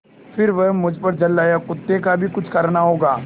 फिर वह मुझ पर झल्लाया कुत्ते का भी कुछ करना होगा